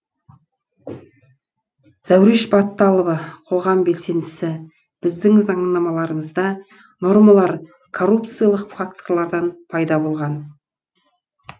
зәуреш батталова қоғам белсендісі біздің заңнамаларымызда нормалар коррупциялық факторлардан пайда болған